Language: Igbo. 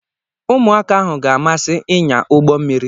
Ụmụaka ahụ ga-amasị ịnya ụgbọ mmiri.